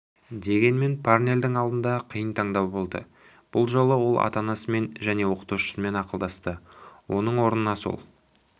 дегенмен парнельдің алдыңда қиын таңдау болды бұл жолы ол ата-анасымен және оқытушысымен ақылдасты оның орнына сол